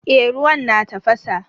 Eh ruwan na tafasa.